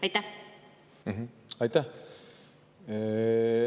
Aitäh!